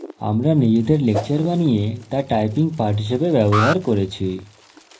আমরা নিজেদের লেকচর বানিয়ে তা typing পাঠ হিসেবে ব্যবহার করেছি